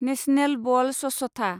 national बल स्वछथा